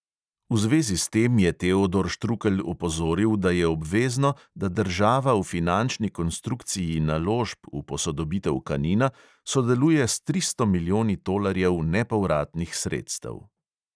V zvezi s tem je teodor štrukelj opozoril, da je obvezno, da država v finančni konstrukciji naložb v posodobitev kanina sodeluje s tristo milijoni tolarjev nepovratnih sredstev.